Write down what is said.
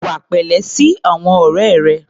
Hùwà pẹ̀lẹ́ sí àwọn ọ̀rẹ́ rẹ.